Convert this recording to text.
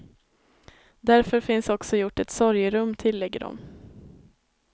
Därför finns också gjort ett sorgerum, tillägger de.